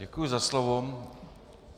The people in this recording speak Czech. Děkuji za slovo.